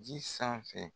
Ji sanfɛ